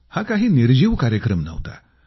हा काही निर्जीव कार्यक्रम नव्हता